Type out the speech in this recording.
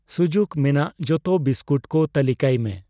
ᱥᱩᱡᱩᱠ ᱢᱮᱱᱟᱜ ᱡᱚᱛᱚ ᱵᱤᱥᱠᱩᱴ ᱠᱚ ᱛᱟᱹᱞᱤᱠᱟᱭ ᱢᱮ ᱾